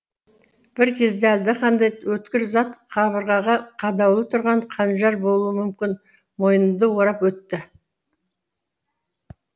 бір кезде әлдеқандай өткір зат қабырғаға қадаулы тұрған қанжар болуы мүмкін мойнымды орып өтті